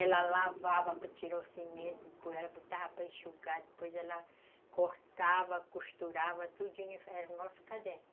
Ela lavava para tirar o cimento, depois ela botava para enxugar, depois ela cortava, costurava tudinho. Era o nosso caderno.